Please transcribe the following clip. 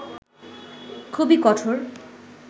খুবই কঠোর